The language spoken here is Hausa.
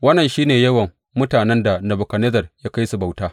Wannan shi ne yawan mutanen da Nebukadnezzar ya kai su bauta.